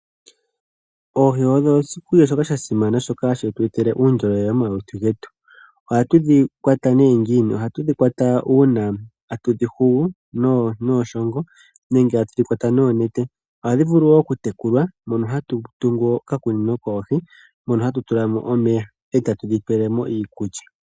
Oohi odho oshikulya sha simana shoka hashi tu etele uundjolowele momalutu getu. Ohatu dhi kwata ne ngiini, ohatu dhi kwata uuna tatu dhi hugu niishongo nenge ha tudhi kwata noonete ohadhi vulu wo okutekulwa mono tatu dhi pelemo omeya niinkulya.